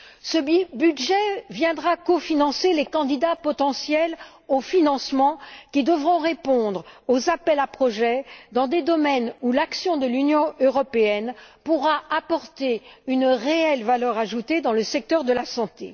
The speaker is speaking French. Ce budget viendra cofinancer les candidats potentiels au financement, qui devront répondre aux appels à projets dans des domaines où l'action de l'Union européenne pourra apporter une réelle valeur ajoutée dans le secteur de la santé.